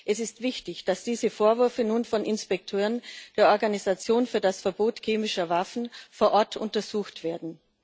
Es ist wichtig, dass diese Vorwürfe nun von Inspekteuren der Organisation für das Verbot chemischer Waffen vor Ort untersucht werden.